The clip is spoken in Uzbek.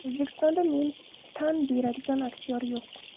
O‘zbekistonda men tan beradigan aktyor yo‘q.